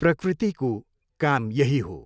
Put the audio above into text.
प्रकृतिको काम यही हो।